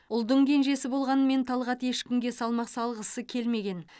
ұлдың кенжесі болғанмен талғат ешкімге салмақ салғысы келмеген